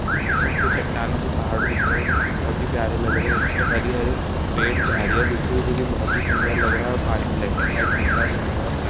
पीछे हमको चट्टानों के पहाड़ दिख रहे हैं जो कि बहोत ही प्यारे लग रहे हैं इसपे हरी हरे पेड़ झाड़ियाँ दिख रही है जो कि बहोत ही सुन्दर लग रहा है और पानी ब्लेक एंड वाइट दिख रहा है जो कि बहोत प्या --